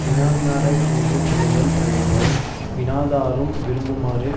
வினாவினாரைப் பிணித்து கொள்ளுதல் தகையவாய் வினாதாரும் விரும்புமாறு